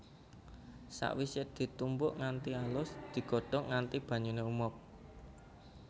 Sakwisé ditumbuk nganti alus digodhog nganti banyuné umob